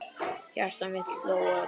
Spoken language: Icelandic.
Hjarta mitt sló ört.